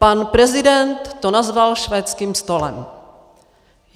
Pan prezident to nazval švédským stolem.